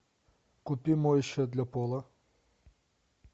купи моющее для пола